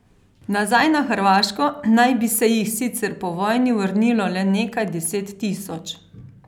Nazaj na Hrvaško naj bi se jih sicer po vojni vrnilo le nekaj deset tisoč.